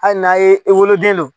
Hali n'a ye e woloden lo.